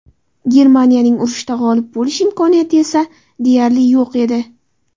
Germaniyaning urushda g‘olib bo‘lish imkoniyati esa deyarli yo‘q edi.